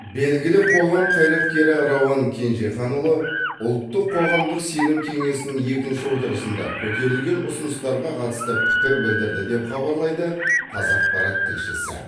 белгілі қоғам қайраткері рауан кенжеханұлы ұлттық қоғамдық сенім кеңесінің екінші отырысында көтерілген ұсыныстарға қатысты пікір білдірді деп хабарлайды қазақпарат тілшісі